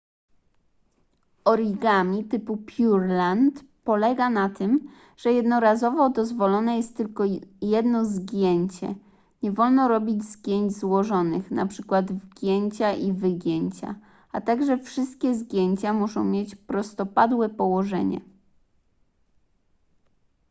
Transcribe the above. origami typu pureland polega na tym że jednorazowo dozwolone jest tylko jedno zgięcie nie wolno robić zgięć złożonych np wgięcia i wygięcia a także wszystkie zgięcia muszą mieć prostopadłe położenie